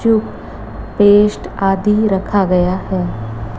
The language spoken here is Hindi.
जो पेस्ट आदि रखा गया है।